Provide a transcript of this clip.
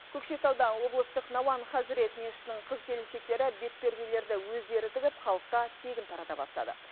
көкшетауда облыстық науан хазырет мешітінің қыз келіншектері бетперделерді өздері тігіп халыққа тегін тарата бастады